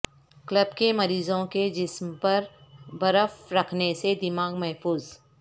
قلب کے مریضوں کے جسم پر برف رکھنے سے دماغ محفوظ